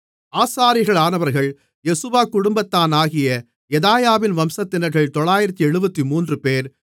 ஆசாரியர்களானவர்கள் Jeshua குடும்பத்தானாகிய யெதாயாவின் வம்சத்தினர்கள் 973 பேர்